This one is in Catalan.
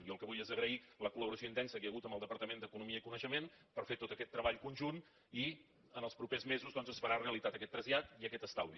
jo el que vull és agrair la col·laboració intensa que hi ha hagut amb el departament d’economia i coneixement per fer tot aquest treball conjunt i en els propers mesos doncs es faran realitat aquest trasllat i aquest estalvi